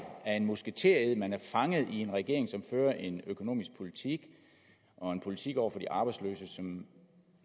af en musketered man er fanget i en regering som fører en økonomisk politik og en politik over for de arbejdsløse som